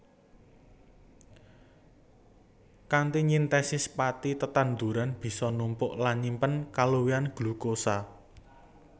Kanthi nyintesis pathi tetanduran bisa numpuk lan nyimpen kaluwihan glukosa